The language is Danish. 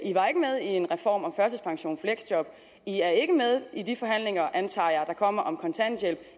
i var ikke med i en reform om førtidspension fleksjob i er ikke med i de forhandlinger antager jeg der kommer om kontanthjælp